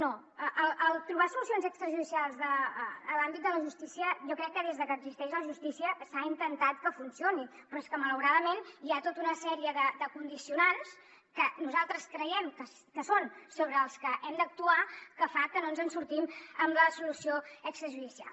no el trobar solucions extrajudicials en l’àmbit de la justícia jo crec que des de que existeix la justícia s’ha intentat que funcioni però és que malauradament hi ha tota una sèrie de condicionants que nosaltres creiem que són sobre els que hem d’actuar que fan que no ens en sortim amb la solució extrajudicial